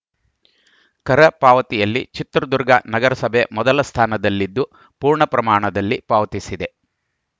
ಕರ ಪಾವತಿಯಲ್ಲಿ ಚಿತ್ರದುರ್ಗ ನಗರಸಭೆ ಮೊದಲ ಸ್ಧಾನದಲ್ಲಿದ್ದು ಪೂರ್ಣ ಪ್ರಮಾಣದಲ್ಲಿ ಪಾವತಿಸಿದೆ